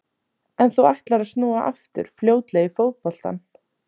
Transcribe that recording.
En þú ætlar að snúa aftur fljótlega í fótboltann?